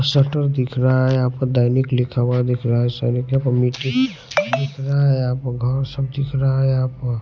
shutter दिख रहा है यहां पर दैनिक लिखा हुआ दिख रहा है स मिट्टी दिख रहा है यहां पर घर सब दिख रहा है यहां पर--